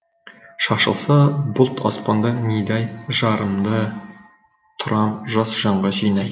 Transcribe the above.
шашылса бұлт аспанда мидай жырымды тұрам жас жанға жинай